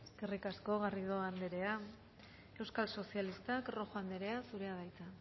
eskerrik asko garrido anderea euskal sozialistak rojo anderea zurea da hitza